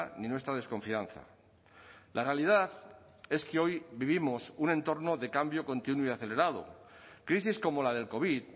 ni nuestra desconfianza la realidad es que hoy vivimos un entorno de cambio continuo y acelerado crisis como la del covid